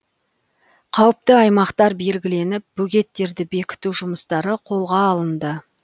қауіпті аймақтар белгіленіп бөгеттерді бекіту жұмыстары қолға алынды